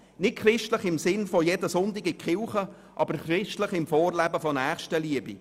Nicht christlich in dem Sinne, dass man jeden Sonntag in die Kirche ging, aber im Vorleben der Nächstenliebe.